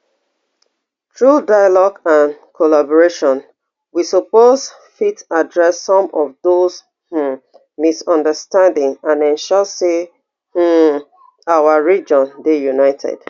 through dialogue and collaboration we suppose fit address some of those um misunderstanding and ensure say um our region dey united